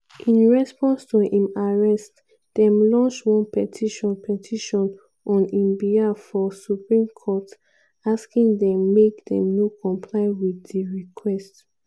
in response to im arrest dem launch one petition petition on im behalf for supreme court – asking dem make dem no comply wit di request.